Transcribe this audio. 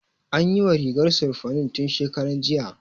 An yiwa rigar sirfanin tun shekaran jiya